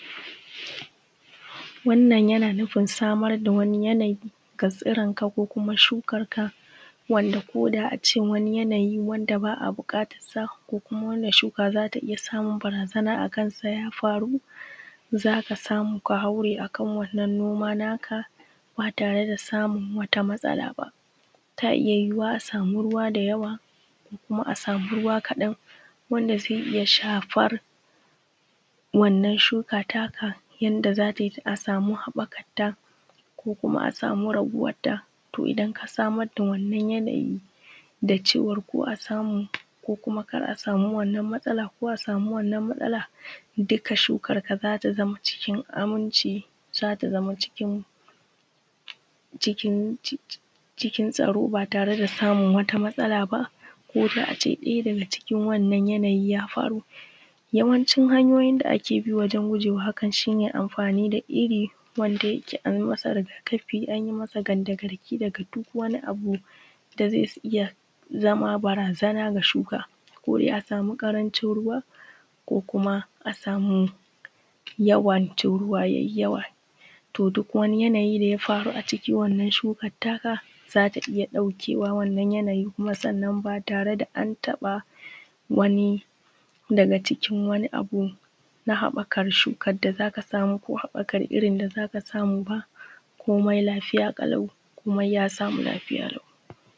Wannna yana nufin samar da wani yanayi ga tsiron ka ko kuma shukarka wanda ko da ace wani yanayi wanda ba a buƙatarsa. Kuma wannan shuka za ta iya samun barazana a kasan ya faru da aka samu ka hare a kan wannan noma naka ba tare da samun wata matsala ba. Mai yuwuwa a sama ruwa da yawa ko a sama ruwa kaɗan wanda zai iya shafar wannan shuka taka a a sama haɓakarta ko kuma a sama raguwaeta. To idan ka samar da wannan yanayi farko a samu kuma kar a sama wannan matsala ko a samu wannan matsala duk shukarka za ta zama cikin aminci za ta zama cikin tsaro b tare da samu wata matsala ba, daya daga cikin wannan yananyin ya faru. Yawancin hanyoyin da ake abi wajen gujewa hakan shi ne irin wanda yake masa riga-kafi an yi masa kandagarki daga duk wani abu da zai iya zama barazana da shuka sai dai a sama ƙarancin ruwa ko kuma a samu yawan ruwa ruwa ya yi yawa. To duk wani yanayi da ya faruwa a wannan shukar taka za ta iya ɗaukewa wannan yanayi ba tare da na taba wani daga cikin wani abu na haɓakar shukar da za ka samu koo haɓakar irin da za ka samu ba komai lafiya kalau komai ya samu lafiya lau.